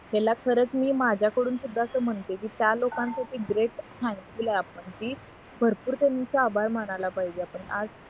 ह्याला खरंच मी माझ्याकडून सुद्धा असं म्हणते की त्या लोकांचे ते ग्रेट थँकफुल आपण की भरपूर त्यांचं आभार मानायला पाहिजे आपण आज